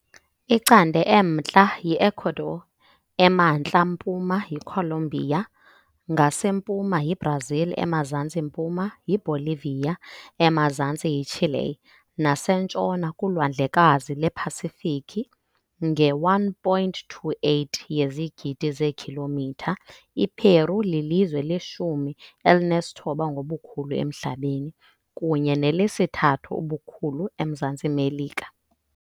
Icande emntla yi Ecuador, emantla mpuma yiColombia, ngasempuma yiBrazil, emazantsi mpuma yiBolivia, emazantsi yiChile nasentshona kuLwandlekazi lwePasifiki . Nge-1.28 yezigidi zeekhilomitha, iPeru lilizwe leshumi elinesithoba ngobukhulu emhlabeni, kunye nelesithathu ngobukhulu eMzantsi Melika.